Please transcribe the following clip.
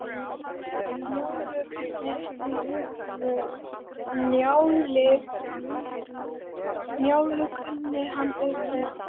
Njálu kunni hann utan að.